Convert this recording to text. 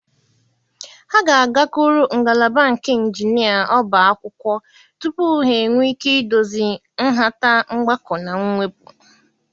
Ha ga-agakwuru ngalaba nke Injinia Ọbá akwụkwọ tupu ha enwee ike idozi nhata mgbakọ na mwepụ.